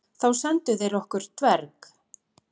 Þá sendu þeir okkur dverg.